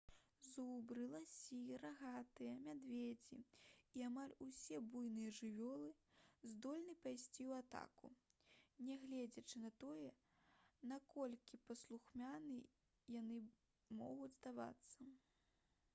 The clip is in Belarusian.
зубры ласі рагатыя мядзведзі і амаль усе буйныя жывёлы здольны пайсці ў атаку нягледзячы на тое наколькі паслухмянымі яны могуць здавацца